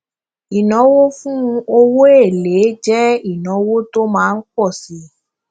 ìnáwó fún owó èlé jẹ ìnáwó tó má ń pọ síi